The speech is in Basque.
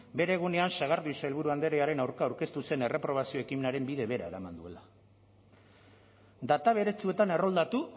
bere egunean sagardui sailburu andrearen aurka aurkeztu zen erreprobazio ekimenaren bide bera eraman duela data beretsuetan erroldatu